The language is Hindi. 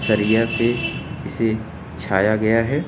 सरिया से इसे छाया गया है।